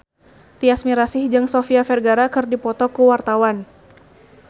Tyas Mirasih jeung Sofia Vergara keur dipoto ku wartawan